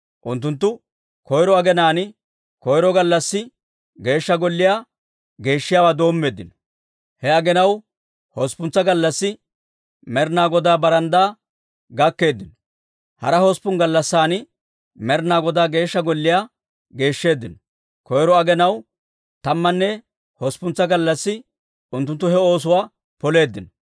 Unttunttu koyro aginaan, koyro gallassi Geeshsha Golliyaa geeshshiyaawaa doommeeddino; he aginaw hosppuntsa gallassi Med'inaa Godaa baranddaa gakkeeddino. Hara hosppun gallassan Med'inaa Godaa Geeshsha Golliyaa geeshsheeddino. Koyro aginaw tammanne usuppuntsa gallassi unttunttu he oosuwaa poleeddino.